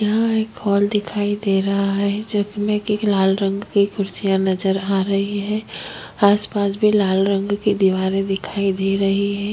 यहाँ एक हॉल दिखाई दे रहा है जिसमे की लाल रंग की कुर्सिया नज़र आ रही है आसपास भी लाल रंग की दीवारें दिखाई दे रही है।